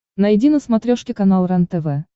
найди на смотрешке канал рентв